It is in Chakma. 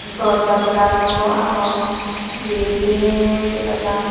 door janla ganio agon grill diney dega jar.